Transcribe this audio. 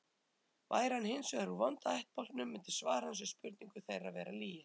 Væri hann hins vegar úr vonda ættbálknum myndi svar hans við spurningu þeirra vera lygi.